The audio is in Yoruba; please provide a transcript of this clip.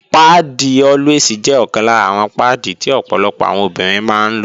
Páàdì Always jẹ́ ọ̀kan lára àwọn páàdì tí ọ̀pọ̀lọpọ̀ àwọn obìnrin máa ń lò